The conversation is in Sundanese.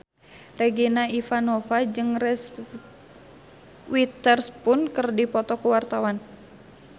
Regina Ivanova jeung Reese Witherspoon keur dipoto ku wartawan